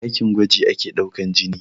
A ɗakin gwaji ake ɗaukan jini